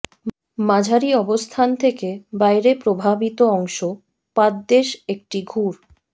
মাঝারি অবস্থান থেকে বাইরে প্রভাবিত অংশ পাদদেশ একটি ঘুর